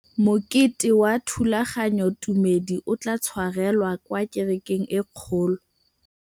Mokete wa thulaganyôtumêdi o tla tshwarelwa kwa kerekeng e kgolo.